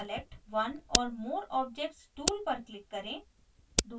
select one or more objects tool पर click करें